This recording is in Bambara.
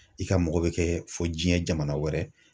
I ka mɔgɔ bɛ kɛ fo diɲɛ jamana wɛrɛ.